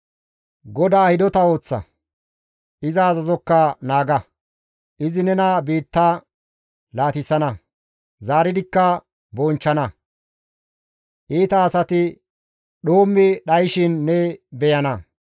GODAA hidota ooththa; iza azazokka naaga; izi nena biitta laatissana; zaaridikka bonchchana; iita asati dhoommi dhayshin ne beyana.